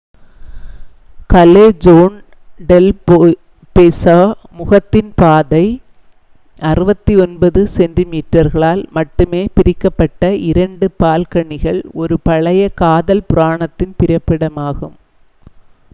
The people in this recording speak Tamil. காலெஜோன் டெல் பெசோ முத்தத்தின் பாதை. 69 சென்டிமீட்டர்களால் மட்டுமே பிரிக்கப்பட்ட இரண்டு பால்கனிகள் ஒரு பழைய காதல் புராணத்தின் பிறப்பிடமாகும்